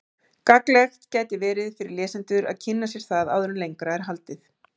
Gagnlegt gæti verið fyrir lesendur að kynna sér það áður en lengra er haldið.